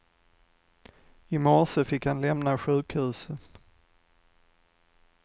I morse fick han lämna sjukhuset.